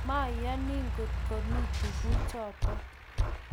mayoni ngot komi tuguchoto